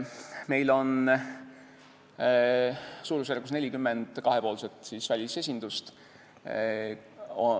Meil on suurusjärgus 40 kahepoolset välisesindust.